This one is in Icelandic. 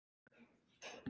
Neistar fljúga.